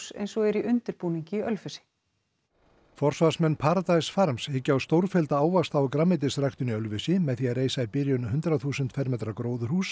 eins og er í undirbúningi í Ölfusi forvarsmenn Paradise farms hyggja á stórfellda ávaxta og grænmetisræktun í Ölfusi með því að reisa í byrjun hundrað þúsund fermetra gróðurhús